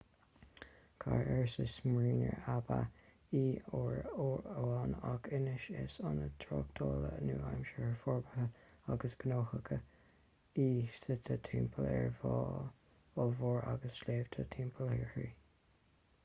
cathair ársa smyrna ab ea í uair amháin ach anois is ionad tráchtála nua-aimseartha forbartha agus gnóthach í suite timpeall ar bhá ollmhór agus sléibhte timpeall uirthi